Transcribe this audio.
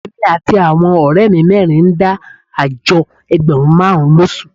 Èmi àti àwọn ọ̀rẹ́ mi mẹ́rin ń dá àjọ ẹgbẹ̀rún márùn-ún lóṣù